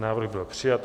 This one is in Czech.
Návrh byl přijat.